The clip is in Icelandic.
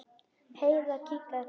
Heiða kinkaði kolli.